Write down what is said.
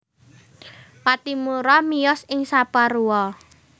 Pattimura miyos ing Saparua